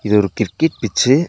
இது ஒரு cricket pitch .